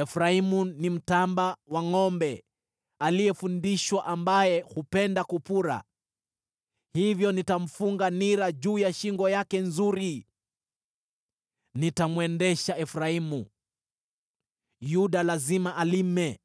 Efraimu ni mtamba wa ngʼombe aliyefundishwa ambaye hupenda kupura, hivyo nitamfunga nira juu ya shingo yake nzuri. Nitamwendesha Efraimu, Yuda lazima alime,